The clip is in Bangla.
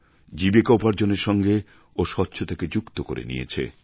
জীবিকা উপার্জনের সঙ্গে ও স্বচ্ছতাকে যুক্ত করে নিয়েছে